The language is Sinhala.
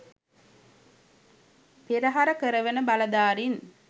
පෙරහර කරවන බලධාරීන්